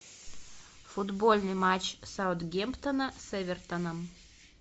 футбольный матч саутгемптона с эвертоном